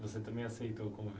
Você também aceitou o